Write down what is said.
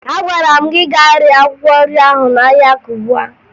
Agwara m gị gaa ree akwụkwọ nri ahụ n'ahịa Kubwa